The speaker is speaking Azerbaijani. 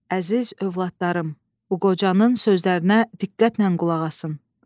Əziz övladlarım, bu qocanın sözlərinə diqqətlə qulaq asın.